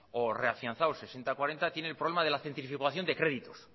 o reafianzados sesenta cuarenta tiene el problema de la centrifugación de créditos